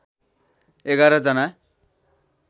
एघार जना